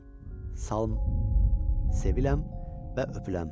Salam, salam, seviləm və öpüləm.